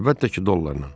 Əlbəttə ki, dollarla.